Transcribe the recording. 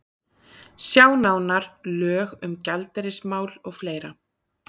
Sjá nánar: Lög um gjaldeyrismál og fleira.